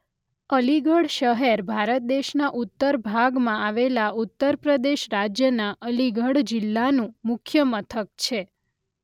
અલીગઢ શહેર ભારત દેશના ઉત્તર ભાગમાં આવેલા ઉત્તર પ્રદેશ રાજ્યના અલીગઢ જિલ્લાનું મુખ્ય મથક છે.